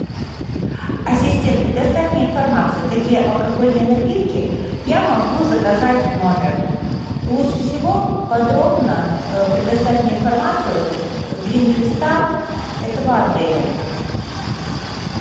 ассистент предоставь мне информацию какие алкогольные напитки я могу заказать в номер лучше всего подробно предоставь мне информацию дринк листа этого отеля